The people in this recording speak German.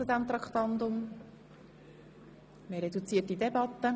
– Dies ist offenbar nicht der Fall.